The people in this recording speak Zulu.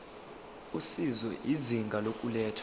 usizo izinga lokulethwa